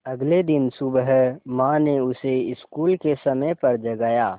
अगले दिन सुबह माँ ने उसे स्कूल के समय पर जगाया